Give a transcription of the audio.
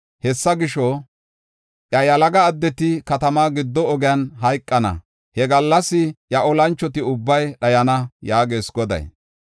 Hessa gisho, iya yalaga addeti katamaa giddo ogiyan hayqana; he gallas iya olanchoti ubbay dhayana” yaagees Goday.